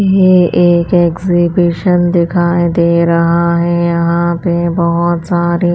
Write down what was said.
ये एक एक्सिबिशन दिखाई दे रहा है यहाँ पे बहुत सारी --